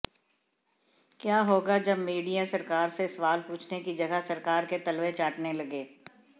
क्या होगा जब मीड़िया सरकार से सवाल पूंछने की जगह सरकार के तलवे चाटने लगे